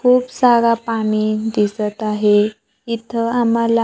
खूप सारा पाणी दिसत आहे इथं आम्हाला--